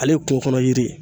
Ale ye kungokɔnɔ yiri ye